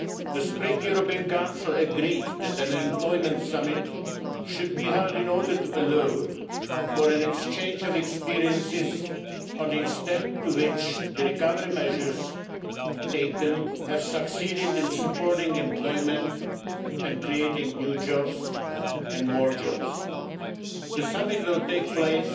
The Spring European Council agreed that an Employment Summit should be held in order to allow for an exchange of experiences on the extent to which the recovery measures taken have succeeded in supporting employment and creating new jobs and more jobs. The Summit will take place